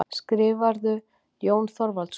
Skrifarðu, Jón Þorvaldsson?